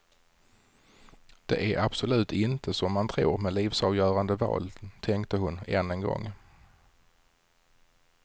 Det är absolut inte som man tror med livsavgörande val, tänkte hon än en gång.